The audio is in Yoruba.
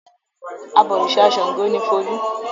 Abọ̀rìṣà Ṣàngó ni Folú.